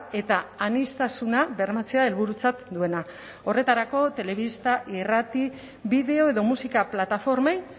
eta aniztasuna bermatzea helburutzat duena horretarako telebista irrati bideo edo musika plataformei